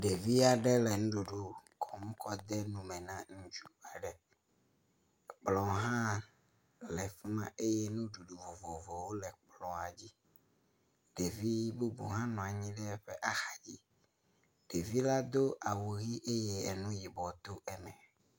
Ɖevia ɖe le nuɖuɖu xɔm kɔ de nume na ŋutsu aɖe, kplɔ̃ hã le fuma eye nuɖuɖu vovovowo le kplɔ̃a dzi, ɖevi bubu hã nɔ anyi ɖe eƒe axa dzi. Ɖevi la do awu ʋi eye enu yibɔ to eme.